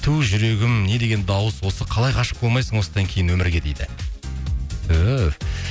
ту жүрегім не деген дауыс осы қалай ғашық болмайсың осыдан кейін өмірге дейді түһ